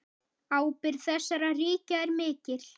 Ábyrgð þessara ríkja er mikil.